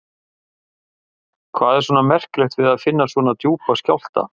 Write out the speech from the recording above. Hvað er svona merkilegt við það að finna svona djúpa skjálfta?